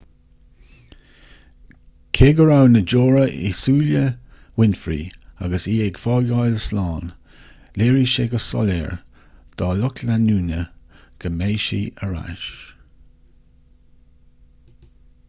cé go raibh na deora i súile winfrey agus í ag fágáil slán léirigh sé go soiléir dá lucht leanúna go mbeidh sí ar ais